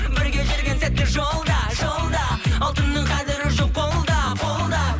бірге жүрген сәтте жолда жолда алтынның қадірі жоқ қолда қолда